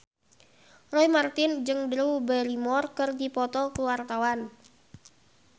Roy Marten jeung Drew Barrymore keur dipoto ku wartawan